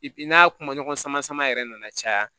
n'a kuma ɲɔgɔn sama sama yɛrɛ nana caya